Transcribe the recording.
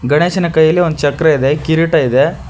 ಗಣೇಶನ ಕೈಯಲ್ಲಿ ಒಂದು ಚಕ್ರ ಇದೆ ಕಿರೀಟ ಇದೆ.